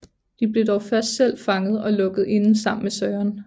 De blev dog først selv fanget og lukket inde sammen med Søren